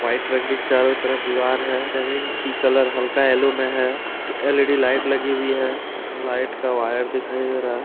White रंग की चारों तरफ दीवार है जमीन की कलर हल्का यलो में है उसके एल_ई_डी लाइट लगी हुई है लाइट का वायर दिखाई दे रहा है।